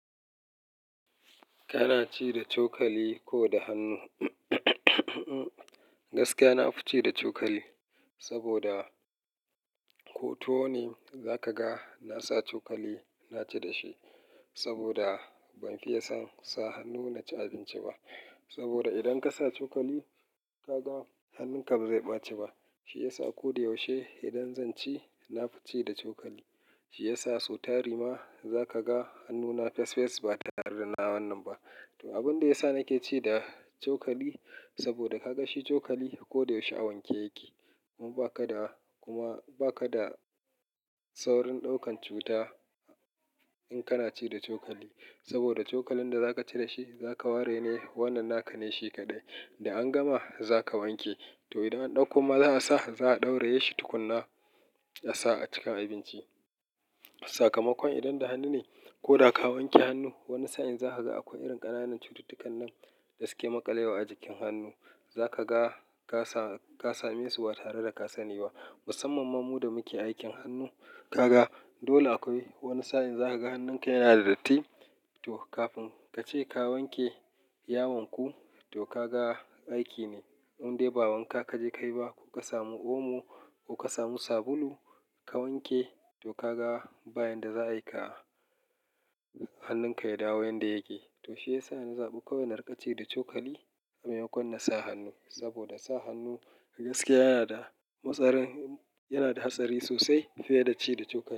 Kana ci da cokali ko da hannu? Gaskiya, na fi ci da cokali saboda ko tuwo ne za ka ga na sa cokali na ci da shi saboda ban fiye son sa hannu na ci abinci ba. Saboda idan ka sa cokali, ka ga hannunka ba zai ɓace ba. Shi ya sa ko da yaushe idan zan ci, na fi ci da cokali. Shi ya sa su tari ma za ka ga hannuna fes fes ba tare da nawa wannan ba. To abin da ya sa nake ci da cokali saboda ka ga shi cokali ko da yaushe a wanke yake. Kuma ba ka da saurin ɗaukan cuta in kana ci da cokali. Saboda cokalin da za ka ci da shi, za ka ware ne wannan naka ne shi kaɗai. Da an gama za ka wanke. To idan an ɗauko ma za a sa, za a ɗauraye shi tukuna a sa a cikin abinci. Sakamakon idan da hannu ne ko da ka wanke hannu, wani sa'in za ka ga akwai irin ƙananan cututtukan nan da suke maƙalewa a jikin hannu. Za ka ga ka sami su ba tare da ka sani ba. Musamman ma mu da muke aikin hannu, ka ga dole akwai wani sa'in za ka ga hannunka yana da datti. To kafin ka ce ka wanke, ya wanku, to ka ga aiki ne. Indai ba wanka ka je ka yi ba ko ka samu omo ko ka samu sabulu ka wanke, to ka ga bayan da za a yi hannunka ya dawo yanda yake. To shi ya sa ni zaɓi kawai na riƙa ci da cokali a maimakon na sa hannu. Saboda sa hannu gaskiya yana da hatsari sosai fiye da ci da cokali.